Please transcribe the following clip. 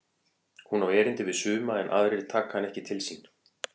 Hún á erindi við suma en aðrir taka hana ekki til sín.